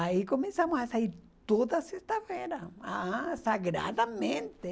Aí começamos a sair toda sexta-feira, aham, sagradamente.